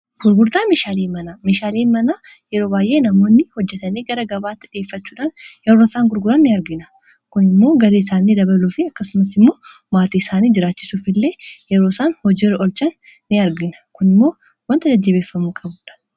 gurgurdaa mishaalii mana mishaalii mana yeroo baay'ee namoonni hojjatanii gara gabaatti dhi'effachuudhaan yeroo isaan gurguraa in argina kun immoo garii isaaniii dabaluu fi akkasumas immoo maatii isaanii jiraachisuf illee yeroo isaan hojiru olchan in argina kun immoo wanta jajjibeeffamuu qabuudha